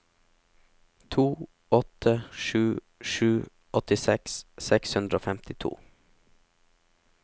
to åtte sju sju åttiseks seks hundre og femtito